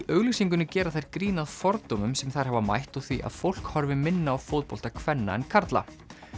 auglýsingunni gera þær grín að fordómum sem þær hafa mætt og því að fólk horfi minna á fótbolta kvenna en karla